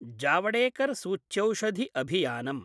जावडेकर सूच्यौषधि अभियानम्